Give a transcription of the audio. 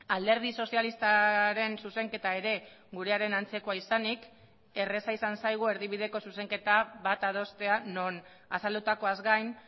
alderdi sozialistaren zuzenketa ere gurearen antzekoa izanik erraza izan zaigu erdibideko zuzenketa bat adostea non azaldutakoaz gain